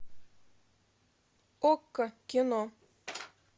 окко кино